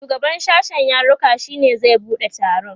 shugaban sashen yaruka shine zai buɗe taron